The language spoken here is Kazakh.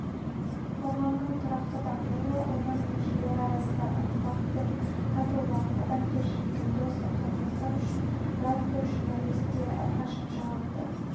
қоғамның тұрақты дамуы оның мүшелері арасындағы ынтымақ пен татулық адамгершілік пен достық қатынастар үшін радиожурналист те әрқашан жауапты